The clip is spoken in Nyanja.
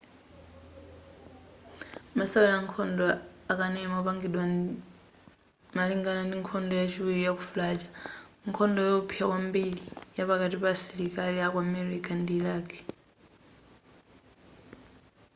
masewera ankhondo akanema opangidwa malingana ndi nkhondo yachiwiri yaku fallujar nkhondo yowopsa kwambiri yapakati pa asilikali aku america ndi iraq